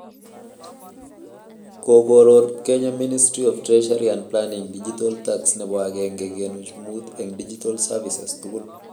Kokooror Kenya Ministry of Treasury and Planning digital tax nebo agenge kenuch muut eng digital services tugul